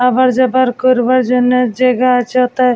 আবার যাবার করবার জন্যে জায়গা আছে ওতে।